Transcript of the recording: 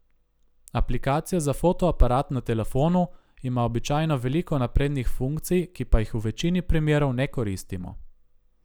Aplikacija za fotoaparat na telefonu ima običajno veliko naprednih funkcij, ki pa jih v večini primerov ne koristimo.